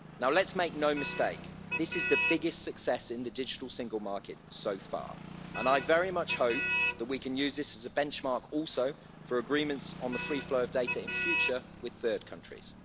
Let's make no mistake, this is the biggest success in the digital single market so far and I very much hope that we can use this as a benchmark also for agreements on the free flow of data in future with third countries.